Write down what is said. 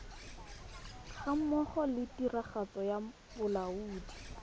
gammogo le tiragatso ya bolaodi